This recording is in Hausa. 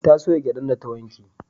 Ta soya gyadan da ta wanke